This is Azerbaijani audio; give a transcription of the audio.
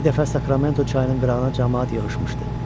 Bir dəfə Sakramento çayının qırağına camaat yığışmışdı.